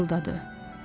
pıçıldadı.